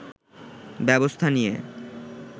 ব্যবস্থা নিয়ে